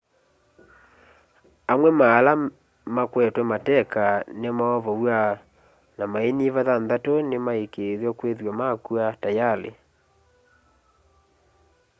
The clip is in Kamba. amwe ma ala makwetwe mateka nimaovow'a na mainyiva thanthatu nimaikiithwa kithwa makw'a tayali